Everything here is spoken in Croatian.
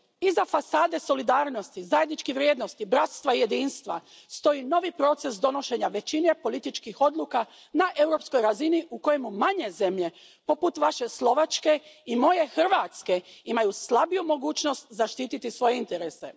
Iza fasade solidarnosti, zajedničkih vrijednosti, bratstva i jedinstva stoji novi proces donošenja većine političkih odluka na europskoj razini u kojemu manje zemlje poput Vaše Slovačke i moje Hrvatske imaju slabiju mogućnost zaštititi svoje interese.